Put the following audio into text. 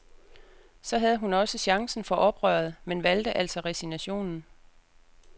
Så havde hun også chancen for oprøret, men valgte altså resignationen.